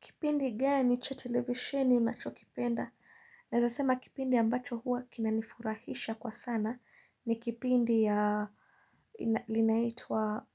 Kipindi gani cha tilevisheni unachokipenda. Naezasema kipindi ambacho hua kinanifurahisha kwa sana. Ni kipindi ya linaitwa